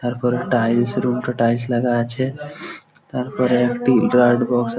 তারপরে tiles room -টা tiles লাগা আছে তারপরে একটি ।